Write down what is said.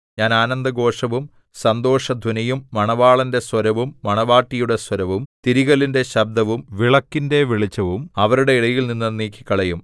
ഞാൻ ആനന്ദഘോഷവും സന്തോഷധ്വനിയും മണവാളന്റെ സ്വരവും മണവാട്ടിയുടെ സ്വരവും തിരികല്ലിന്റെ ശബ്ദവും വിളക്കിന്റെ വെളിച്ചവും അവരുടെ ഇടയിൽനിന്ന് നീക്കിക്കളയും